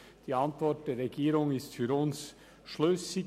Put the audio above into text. Die Antwort der Regierung ist für uns schlüssig.